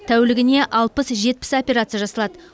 тәулігіне алпыс жетпіс операция жасалады